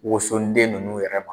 Wosoden ninnu n'u yɛrɛ ma